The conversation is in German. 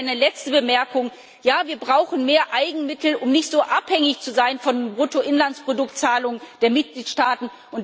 Und noch eine letzte Bemerkung Ja, wir brauchen mehr Eigenmittel, um nicht so abhängig zu sein von Bruttoinlandsproduktzahlungen der Mitgliedstaaten.